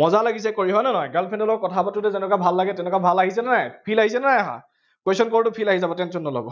মজা লাগিছে কৰি হয় নে নহয়? girl friend লগত কথা পাতোতে যেনেকা ভাল লাগে, তেনকা ভাল লাগিছে নে নাই feel আহিছেনে নাই অহা question কৰোতে feel আহি যাব tension নলব।